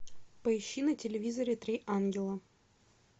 поищи на телевизоре три ангела